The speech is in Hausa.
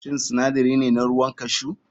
Shin sinadari ne na ruwan cashew?